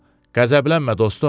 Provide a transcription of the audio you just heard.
Qəzəblənmə, dostum!